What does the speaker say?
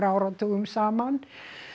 áratugum saman